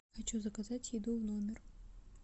хочу заказать еду в номер